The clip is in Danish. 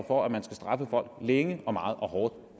for at man skal straffe folk længe meget og hårdt